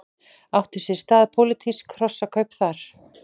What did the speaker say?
Áttu sér stað pólitísk hrossakaup þar?